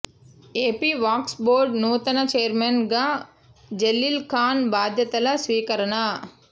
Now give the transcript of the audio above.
AP Waqf board నూతన chairman గా జలీల్ ఖాన్ బాధ్యతల స్వీకరణ